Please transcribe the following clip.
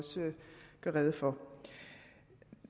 rede for